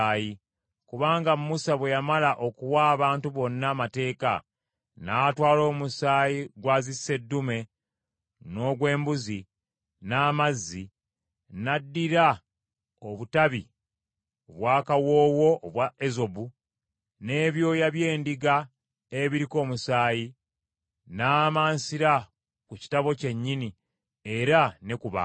Kubanga Musa bwe yamala okuwa abantu bonna Amateeka, n’atwala omusaayi gwa zisseddume n’ogw’embuzi, n’amazzi, n’addira obutabi obw’akawoowo obwa ezobu, n’ebyoya by’endiga ebiriko omusaayi, n’amansira ku kitabo kyennyini era ne ku bantu.